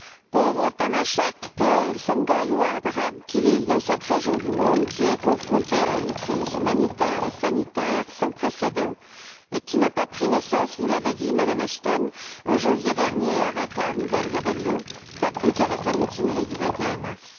Pauvres Tamacheqs, Peuls, Sonrhaï ou Arabes qui vivent dans cette région du monde, confrontée à une crise humanitaire et sanitaire sans précédent, qui n'a pas pris naissance, vous l'avez dit, Madame Ashton, en janvier dernier avec la nouvelle rébellion, pas plus qu'avec la mutinerie du 21 mars.